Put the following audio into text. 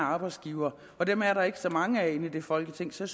af arbejdsgivere dem er der ikke så mange af i folketinget så